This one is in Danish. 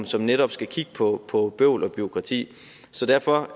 som netop skal kigge på på bøvl og bureaukrati så derfor